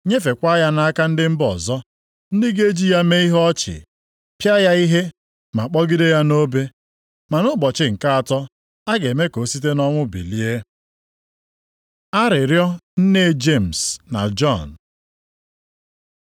nyefekwa ya nʼaka ndị mba ọzọ, ndị ga-eji ya mee ihe ọchị, pịa ya ihe, ma kpọgide ya nʼobe. Ma nʼụbọchị nke atọ, a ga-eme ka ọ site nʼọnwụ bilie.” Arịrịọ nne Jemis na Jọn